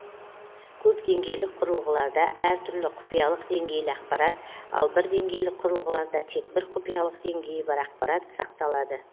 көп деңгейлік құрылғыларда әр түрлі құпиялық деңгейлі ақпарат ал бір деңгейлік құрылғыларда тек бір құпиялық деңгейі бар ақпарат сақталады